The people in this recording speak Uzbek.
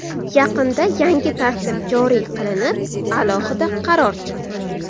Yaqinda yangi tartib joriy qilinib, alohida qaror chiqdi.